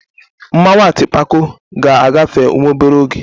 Mmanwụ Atịpako ga-agafe nwa obere oge.